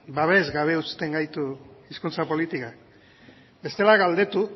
babesgabe uzten gaitu hizkuntza politikak bestela galdetu